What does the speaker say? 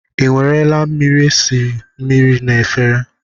Ị nwarala mmiri esi mmiri na efere?